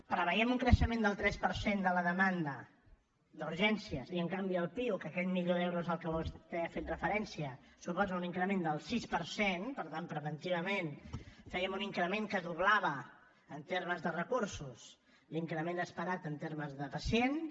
preveiem un creixement del tres per cent de la demanda d’urgències i en canvi al piuc aquest milió d’euros al que vostè ha fet referència suposa un increment del sis per cent per tant preventivament fèiem un increment que doblava en termes de recursos l’increment esperat en termes de pacients